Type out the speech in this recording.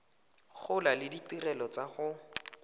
gola le ditirelo tsa go